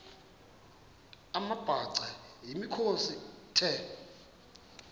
amabhaca yimikhosi the